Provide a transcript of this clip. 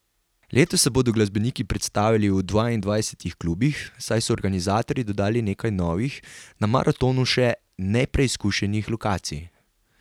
Letos se bodo glasbeniki predstavili v dvaindvajsetih klubih, saj so organizatorji dodali nekaj novih, na maratonu še nepreizkušenih lokacij.